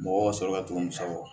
Mɔgɔw ka sɔrɔ ka don musaw kɔ